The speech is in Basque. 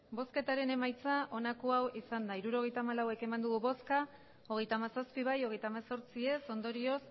hirurogeita hamalau eman dugu bozka hogeita hamazazpi bai hogeita hemezortzi ez ondorioz